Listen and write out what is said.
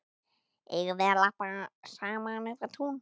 Eigum við að labba saman upp á tún?